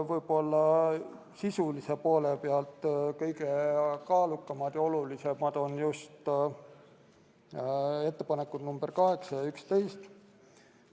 Sisulise poole pealt on kõige kaalukamad ja olulisemad muudatusettepanek number 8 ja 11.